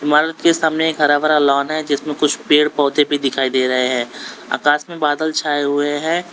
इमारत के सामने एक हरा भरा लॉन है जिसमें कुछ पेड़ पौधे भी दिखाई दे रहे हैं आकाश में बादल छाए हुए हैं।